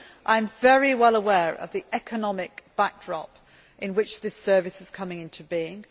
I am very well aware of the economic backdrop against which this Service is coming into being.